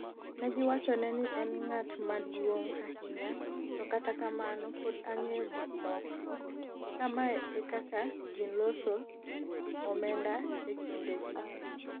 negiwachone ni en ng'at maduong' ahinya to kata kamano pod ong'eyo gikmoko ''kamae e kaka ji losos omenda e kinde gi